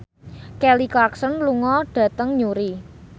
Kelly Clarkson lunga dhateng Newry